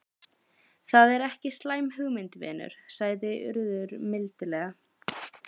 Það er ekki slæm hugmynd, vinur sagði Urður mildilega.